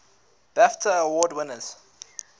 bafta award winners